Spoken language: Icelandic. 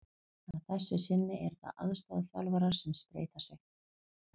Að þessu sinni eru það aðstoðarþjálfarar sem spreyta sig.